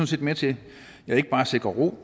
set med til ikke bare at sikre ro